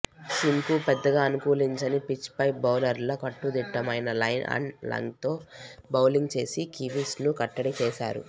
సీమ్కు పెద్దగా అనుకూలించని పిచ్పై బౌలర్లు కట్టుదిట్టమైన లైన్ అండ్ లెంగ్త్తో బౌలింగ్ చేసి కివీస్ను కట్టడి చేశారు